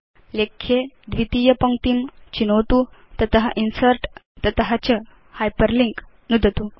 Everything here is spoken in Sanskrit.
लेख्ये द्वितीय पङ्क्तिं चिनोतु तत इन्सर्ट् तत च हाइपरलिंक नुदतु